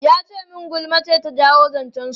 Ya ce min gulma ce ta jawo zancen su.